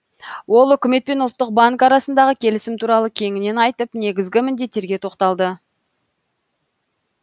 ол үкімет пен ұлттық банк арасындағы келісім туралы кеңінен айтып негізгі міндеттерге тоқталды